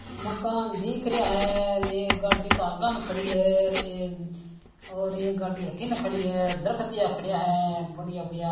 मकान दिख रहा हैं एक गाडी आगे ने खड़ी है और एक गाडी अठीने खड़ी है दरख्त खड़ा है बढ़िया बढ़िया --